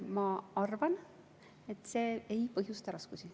Ma arvan, et see ei põhjusta raskusi.